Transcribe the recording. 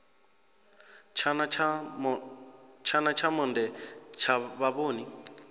tshana tsha monde tsha vhavhoni